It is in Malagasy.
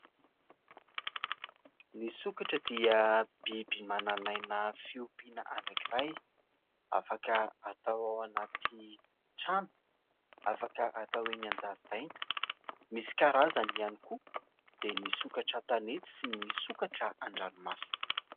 Ny sokatra dia biby manan'aina fiompiana anankiray. Afaka atao ao anaty trano, afaka atao eny an-jaridaina. Misy karazany ihany koa, dia ny sokatra an-tanety sy ny sokatra an-dranomasina.